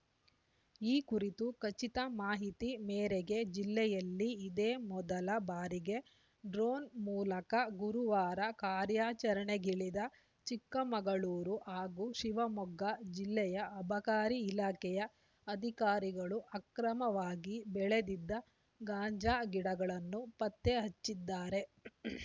ಈ ಕುರಿತು ಖಚಿತ ಮಾಹಿತಿ ಮೇರೆಗೆ ಜಿಲ್ಲೆಯಲ್ಲಿ ಇದೇ ಮೊದಲ ಬಾರಿಗೆ ಡ್ರೋನ್‌ ಮೂಲಕ ಗುರುವಾರ ಕಾರ್ಯಾಚರಣೆಗಿಳಿದ ಚಿಕ್ಕಮಗಳೂರು ಹಾಗೂ ಶಿವಮೊಗ್ಗ ಜಿಲ್ಲೆಯ ಅಬಕಾರಿ ಇಲಾಖೆಯ ಅಧಿಕಾರಿಗಳು ಅಕ್ರಮವಾಗಿ ಬೆಳೆದಿದ್ದ ಗಾಂಜಾ ಗಿಡಗಳನ್ನು ಪತ್ತೆ ಹಚ್ಚಿದ್ದಾರೆ